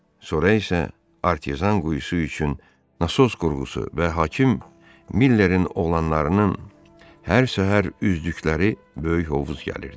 Sonra isə artezyan quyusu üçün nasos qurğusu və hakim Millərin oğlanlarının hər səhər üzdükləri böyük hovuz gəlirdi.